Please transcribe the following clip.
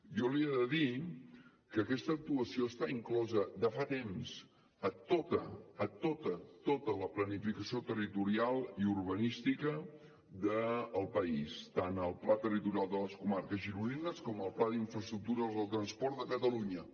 jo li he de dir que aquesta actuació està inclosa de fa temps a tota a tota tota la planificació territorial i urbanística del país tant al pla territorial de les comarques gironines com al pla d’infraestructures del transport de catalunya